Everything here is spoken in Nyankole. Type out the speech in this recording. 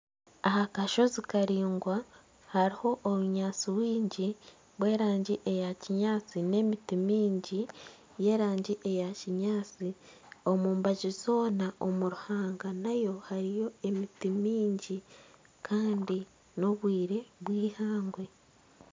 Aha kashozi karaingwa hariho obunyaatsi bwingi, bw'erangi eya kinyaatsi n'emiti mingi y'erangi eya kinyaatsi omu mbaju zoona omu ruhanga nayo hariyo emiti mingi kandi n'obwire bwihangwe